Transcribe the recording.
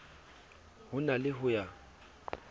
ho na le ho ya